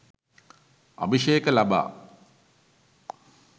අභිෂේක ලබා